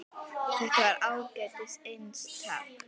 Þetta var ágætis eintak